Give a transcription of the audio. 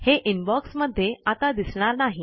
हे इनबॉक्स मध्ये आता दिसणार नाही